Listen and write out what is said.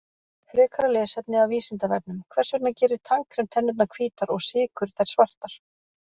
Frekara lesefni af Vísindavefnum: Hvers vegna gerir tannkrem tennurnar hvítar og sykur þær svartar?